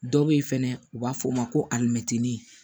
Dɔ bɛ ye fɛnɛ u b'a fɔ o ma ko alimɛtinin